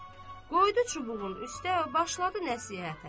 Qoydu çubuğun üstə, başladı nəzhətə.